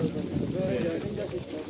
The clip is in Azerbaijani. Hüseyn gəldi, gəldi, gəldi.